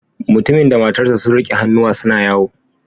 Mutumin da matarsa ​​sun rike hannuwa suna yawo